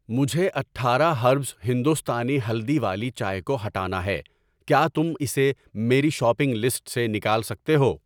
مجھے اٹھارہ ہربز ہندوستانی ہلدی والی چائے کو ہٹانا ہے، کیا تم اسے میری شاپنگ لسٹ سے نکال سکتے ہو؟